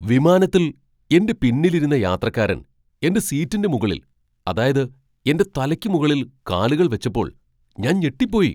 വിമാനത്തിൽ എന്റെ പിന്നിൽ ഇരുന്ന യാത്രക്കാരൻ എന്റെ സീറ്റിന്റെ മുകളിൽ, അതായത് എന്റെ തലയ്ക്ക് മുകളിൽ കാലുകൾ വെച്ചപ്പോൾ ഞാൻ ഞെട്ടിപ്പോയി!